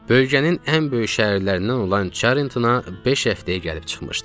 Bölgənin ən böyük şəhərlərindən olan Çarintona beş həftəyə gəlib çıxmışdıq.